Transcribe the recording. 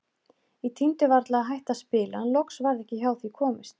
Ég tímdi varla að hætta að spila en loks varð ekki hjá því komist.